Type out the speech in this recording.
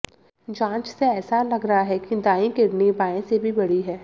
जांच से ऐसा लग रहा है कि दाईं किडनी बाएं से भी बड़ी है